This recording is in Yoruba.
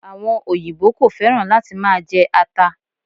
Àwon òyìbó ko féràn láti ma je ata